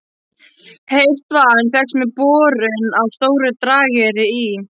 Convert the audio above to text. Heitt vatn fékkst með borun á Stóru-Drageyri í